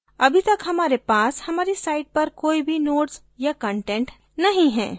अभी तक हमारे पास हमारी site पर कोई भी nodes या content नहीं है